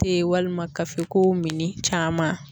Te ye walima kafeko min caman